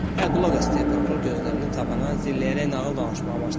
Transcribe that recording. Hə, qulaq as, deyə prokuror gözlərini tavana zilləyərək nağıl danışmağa başladı.